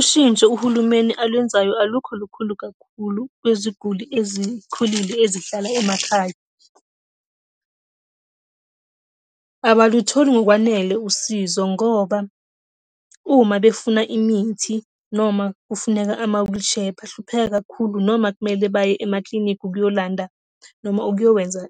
Ushintsho uhulumeni alwenzayo alukho lukhulu kakhulu kwiziguli ezikhulile ezihlala emakhaya . Abalutholi ngokwanele usizo ngoba, uma befuna imithi noma, kufuneka ama-wheelchair, bahlupheka kakhulu noma kumele baye emakilinikhi ukuyolanda noma ukuyokwenza,